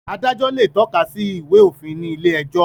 Adájọ́ le tọ́ka sí Ìwé-òfin ní ilé-ẹjọ́.